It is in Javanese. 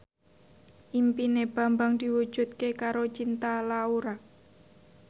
impine Bambang diwujudke karo Cinta Laura